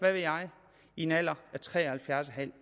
jeg i en alder af tre og halvfjerds en halv år